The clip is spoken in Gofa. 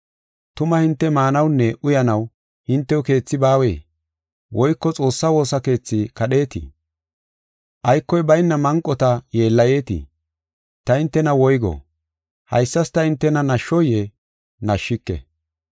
Tuma hinte maanawunne uyanaw hintew keethi baawee? Woyko Xoossa woosa keethi kadheetii? Aykoy bayna manqota yeellayetii? Ta hintena woygo? Haysas ta hintena nashoyee? Nashshike.